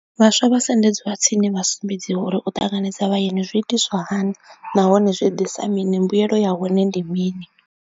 Vhaswa vha sendedziwa tsini vha sumbedziwa uri u ṱanganedza vhayeni zwi itiswa hani nahone zwi ḓisa mini mbuyelo ya hone ndi mini.